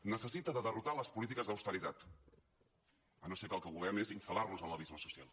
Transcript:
necessita derrotar les polítiques d’austeritat si no és que el que volem és instal·lar nos en l’abisme social